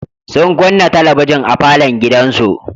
Sun kunna talabijin a falon gidansu.